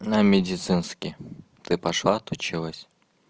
на медицинский ты пошла отучилась